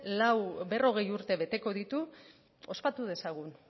berrogei urte beteko ditu ospatu dezagun